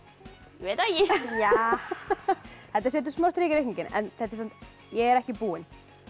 veit það ekki þetta setur smá strik í reikninginn en ég er ekki búin